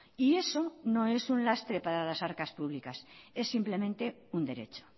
y eso no es un lastre para las arcas públicas es simplemente un derecho